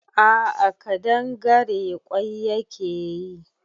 A'a kadangare kwai yake yi